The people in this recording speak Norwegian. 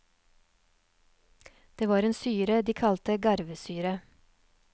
Det var en syre de kalte garvesyre.